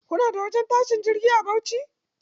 Kuna da wajen tashin jirgi a Bauchi?